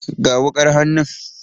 Ga wukar hannun.